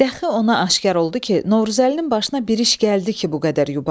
Dəxi ona aşkar oldu ki, Novruzəlinin başına bir iş gəldi ki, bu qədər yubandı.